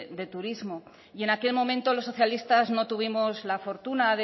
de turismo y en aquel momento los socialistas no tuvimos la fortuna